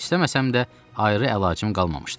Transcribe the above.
İstəməsəm də, ayrı əlacım qalmamışdı.